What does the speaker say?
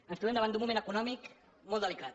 ens trobem davant d’un moment econòmic molt delicat